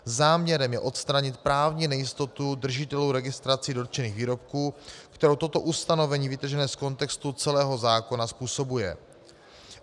Záměrem je odstranit právní nejistotu držitelů registrací dotčených výrobků, kterou toto ustanovení vytržené z kontextu celého zákona způsobuje.